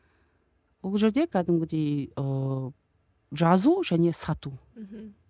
ол жерде кәдімгідей ыыы жазу және сату мхм